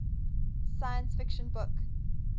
science fiction book